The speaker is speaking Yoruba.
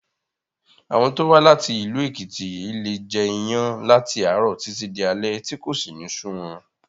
Àwọn tó wá láti ìlú Èkìtì leè jẹ iyán láti àárọ̀ títí di alé tí kò sì ní sú wọn